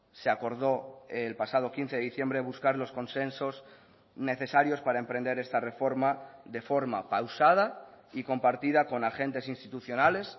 se acordó el pasado quince de diciembre buscar los consensos necesarios para emprender esta reforma de forma pausada y compartida con agentes institucionales